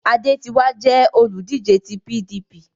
Adé ti wá jẹ́ olùdíje ti PDP